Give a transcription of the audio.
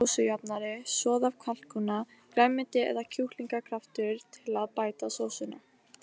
Ljós sósujafnari, soð af kalkúna, grænmeti eða kjúklingakraftur til að bæta sósuna.